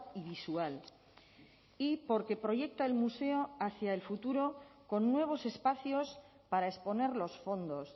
y visual y porque proyecta el museo hacia el futuro con nuevos espacios para exponer los fondos